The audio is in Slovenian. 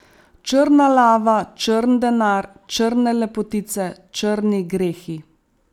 Črna lava, črn denar, črne lepotice, črni grehi.